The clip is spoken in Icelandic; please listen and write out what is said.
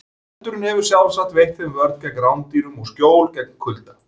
Feldurinn hefur sjálfsagt veitt þeim vörn gegn rándýrum og skjól gegn kulda.